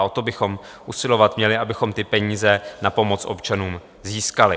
A o to bychom usilovat měli, abychom ty peníze na pomoc občanům získali.